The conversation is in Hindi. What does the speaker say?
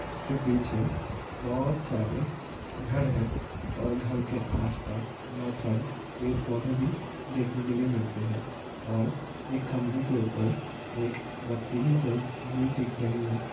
इसके पीछे बहोत सारे घर हैं| और घर के आसपास बहोत सारे पेड़-पौधे भी देखने के लिए मिलते हैं और एक खंभे के ऊपर एक बत्ती भी जलती हुई दिख रही है।